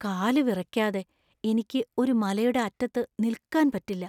കാലുവിറയ്ക്കാതെ എനിക്ക് ഒരു മലയുടെ അറ്റത്ത് നിൽക്കാൻ പറ്റില്ല .